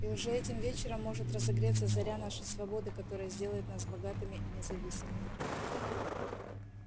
и уже этим вечером может загореться заря нашей свободы которая сделает нас богатыми и независимыми